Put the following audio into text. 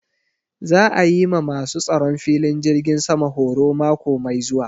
Za a yi ma ma su tsaron filin jirgin sama horo mako mai zuwa